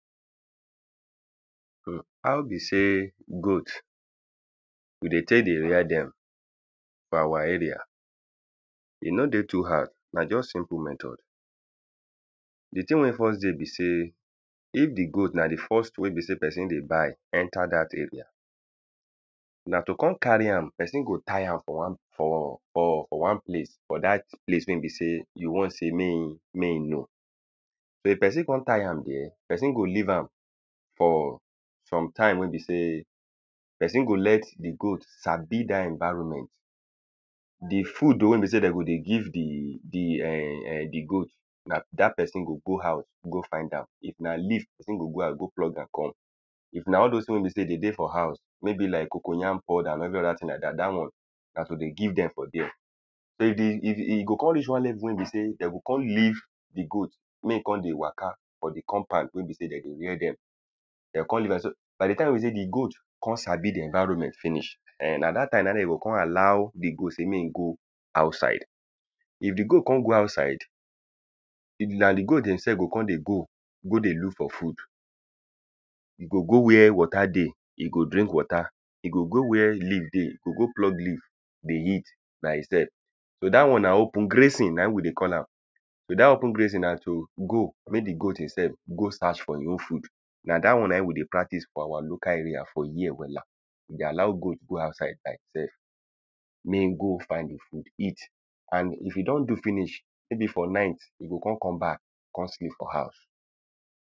Urh how be sey goat we dey take dey rare dem for our area. E no dey too hard. Na just simple method. The thing wey e first dey be sey, if the goat na the first thing wey be sey person dey buy enter dat area, na to con carry am. Person go tie am for one for for for one place. For dat place wey be sey you want sey make e know. If person con tie am dere, person go leave am for some time wey be sey person go let the goad sabi dat environment. The food wey be sey de go dey give the the ern erm the goat, na dat person go go house go find am. If na leaf, person go go house go pluck am come. If na all dos thing wey be sey de dey for house. Wey be like cocoyam powder and every other thing like dat, dat one na to dey give dem for dere. So the e e go con reach one level wey be sey de go come leave the goat make e con dey waka for the compound wey be sey de dey rare dem. De con leave am. So by the time wey the goat con sabi the environment finish, ern na dat time de go con allow the goat sey make e go outside. If the goat con go outside, even na the goat demself go con dey go, go dey look for food. E go go where water dey, e go drink water. E go go where leaf dey, go go pluck leaf dey eat by e self. So dat one na open grazing na im we dey call am. So dat open grazing na to go, make the goat e self go search for e own food. Na dat one na im dey practice for our local area for here wella. We dey allow goat go outside be itself. Mey e go find e food eat. And if e don do finish maybe for night, e go con come back con sleep for house.